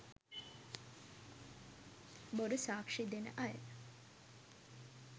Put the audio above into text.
බොරු සාක්‍ෂි දෙන අය,